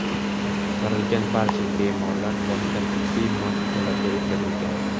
Qutqarilgan barcha bemorlar boshqa tibbiy muassasalarga o‘tkazilgan.